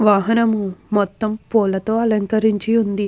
వాహనము మొత్తము పూల తో అలంకరించి ఉంది.